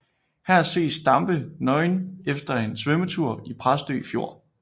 Her ses Stampe nøgen efter en svømmetur i Præstø Fjord